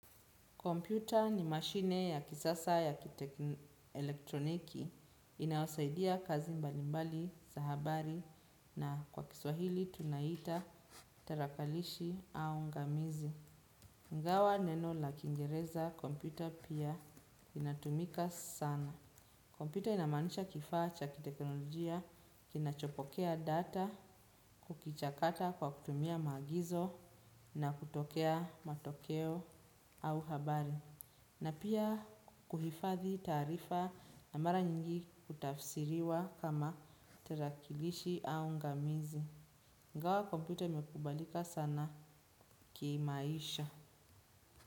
Kompyuta ni mashine ya kisasa ya kitekni elektroniki inayosaidia kazi mbalimbali, za habari na kwa kiswahili tunaita tarakilishi au ngamizi. Ingawa neno la kingereza kompyuta pia inatumika sana. Kompyuta inamanisha kifaa cha kiteknolojia, kinachopokea data, kukichakata kwa kutumia maagizo na kutokea matokeo au habari. Na pia kuhifadhi taarifa na mara nyingi kutafsiriwa kama tarakilishi au ngamizi. Ingawa kompyuta imekubalika sana kimaisha.